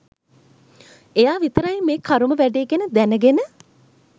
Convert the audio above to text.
එයා විතරයි මේ කරුම වැඩේ ගැන දැනගෙන